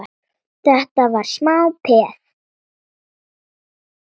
Þetta var smá peð!